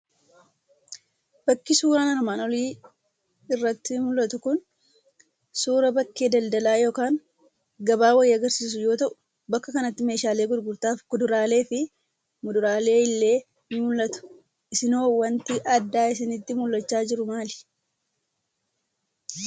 Bakki suuraa armaan olii irratti mul'atu Kun, suuraa bakkee daldalaa yookaan gabaa wayii agarsiisu yoo ta'u, bakka kanatti meeshaalee gurgurtaa fi kuduraalee fi muduraaleen illee ni mul'atu. Isin hoo waanti addaa isinitti mul'achaa jiru maali?